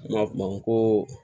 N ma bamako